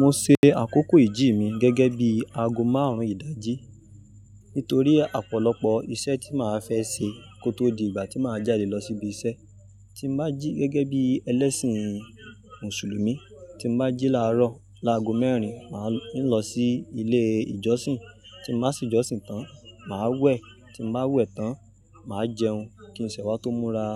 Mo ṣe àkókò ìjí mi gẹ́gẹ́ bí ago márùn-ún ìdájí nítorí ọ̀pọ̀lọpọ̀ iṣẹ́ tí màá fẹ́ ṣe kó tó di ìgbà tí màá jáde lọ síbi iṣẹ́. Tí màá jí gẹ́gẹ́ bí ẹlẹ́sìn Mùsùlùmí, tí màá jí láàárọ̀ láago mẹ́rin, màá ń lọ sí ilé ìjọsìn. Tí màá sí ìjọsìn tán, màá wẹ̀, tí màá wẹ̀ tán, màá jẹun kí n sẹ̀ wá tó múra